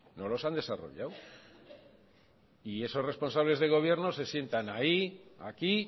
no los han desarrollado y esos responsables del gobierno se sientan ahí aquí